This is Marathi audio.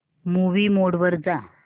मूवी मोड वर जा